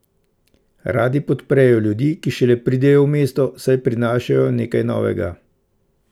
Radi podprejo ljudi, ki šele pridejo v mesto, saj prinašajo nekaj novega.